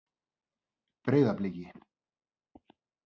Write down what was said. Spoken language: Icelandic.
Breiðabliki